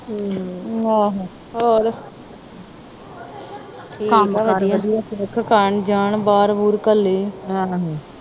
ਆਹੋ ਹੋਰ ਕੰਮ ਕਾਰ ਵਧੀਆ ਸਿੱਖ ਕਰ ਜਾਨ ਬਾਹਰ ਬੁਹਰ ਕਲ੍ਹੇ